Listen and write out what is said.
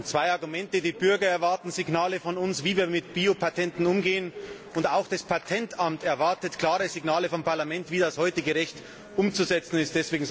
Zwei Argumente Die Bürger erwarten Signale von uns, wie wir mit Biopatenten umgehen, und auch das Patentamt erwartet klare Signale vom Parlament, wie das heutige Recht umzusetzen ist.